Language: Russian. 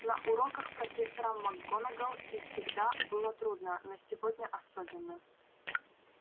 на уроках профессора макгонагалл и всегда было трудно но сегодня особенно